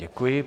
Děkuji.